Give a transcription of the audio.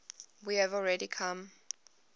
we have already come